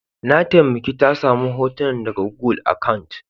Na taimake ta samu hotunan daga gugul akant.